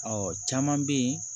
Ɔ caman bɛ yen